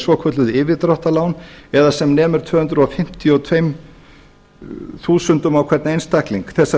svokölluð yfirdráttarlán eða sem nemur tvö hundruð fimmtíu og tvö þúsund á hvern einstakling þessar